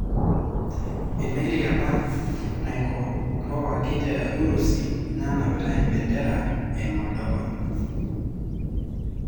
Emeli apa naikombowaki te Urusi nanapita embendera e Moldova.